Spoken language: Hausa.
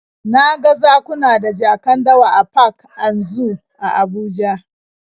Na ga zakuna da jakan dawa a park and zoo a Abuja